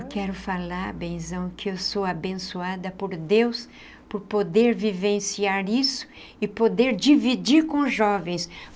Eu quero falar, benzão, que eu sou abençoada por Deus, por poder vivenciar isso e poder dividir com os jovens.